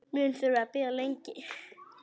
Mun þurfa að bíða lengi.